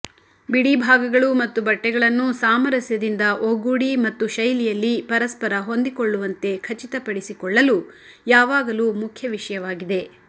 ಬಿಡಿಭಾಗಗಳು ಮತ್ತು ಬಟ್ಟೆಗಳನ್ನು ಸಾಮರಸ್ಯದಿಂದ ಒಗ್ಗೂಡಿ ಮತ್ತು ಶೈಲಿಯಲ್ಲಿ ಪರಸ್ಪರ ಹೊಂದಿಕೊಳ್ಳುವಂತೆ ಖಚಿತಪಡಿಸಿಕೊಳ್ಳಲು ಯಾವಾಗಲೂ ಮುಖ್ಯ ವಿಷಯವಾಗಿದೆ